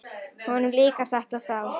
Honum líkar þetta þá.